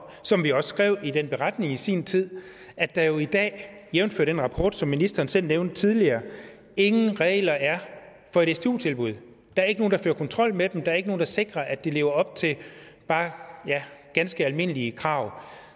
som vi også skrev i den beretning i sin tid at der i dag jævnfør den rapport som ministeren selv nævnte tidligere ingen regler er for et stu tilbud der er ikke nogen der fører kontrol med dem der er ikke nogen der sikrer at de lever op til bare ganske almindelige krav